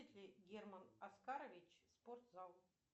герман оскарович спортзал